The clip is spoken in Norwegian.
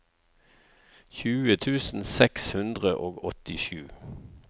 tjue tusen seks hundre og åttisju